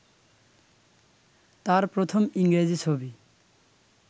তাঁর প্রথম ইংরেজি ছবি